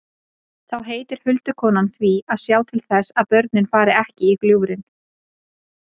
Þá heitir huldukonan því að sjá til þess að börnin fari ekki í gljúfrin.